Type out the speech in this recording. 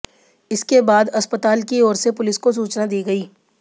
इसके बाद अस्पताल की ओर से पुलिस को सूचना दी गई